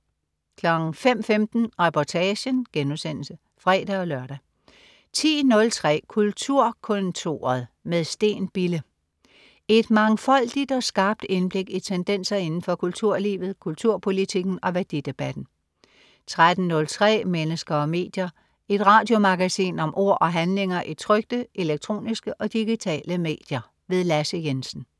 05.15 Reportagen* (fre-lør) 10.03 Kulturkontoret med Steen Bille. Et mangfoldigt og skarpt indblik i tendenser inden for kulturlivet, kulturpolitikken og værdidebatten 13.03 Mennesker og medier. Et radiomagasin om ord og handlinger i trykte, elektroniske og digitale medier. Lasse Jensen